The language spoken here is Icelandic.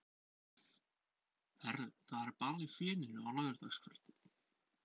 Heyrðu, það er ball í Feninu á laugardagskvöldið.